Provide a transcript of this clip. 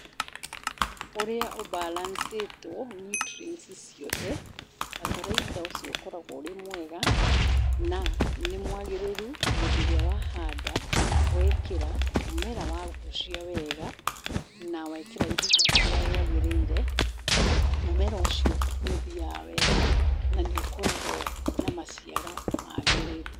Ũrĩa ũ balance two niuntrienti ciothe bataraitha ũcio ũkoragwo ũrĩ mwega na nĩmwagĩrĩru hĩndĩ ĩrĩa wahanda wekĩra, mũmera wagucia wega nawekera ihinda rĩrĩa rĩagĩrĩire, mũmera ũcio nĩũthiaga wehga nanĩ ũkoragwo na maciaro magĩrĩru.